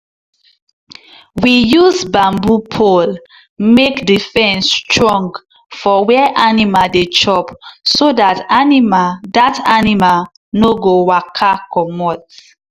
we use bamboo pole make the fence strong for where animal dey chop so dat animal dat animal no go waka commot.